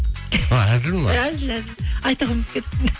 а әзіл ме әзіл әзіл айтуға ұмытып кеттіппін